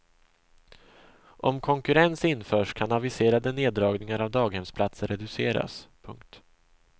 Om konkurrens införs kan aviserade neddragningar av daghemsplatser reduceras. punkt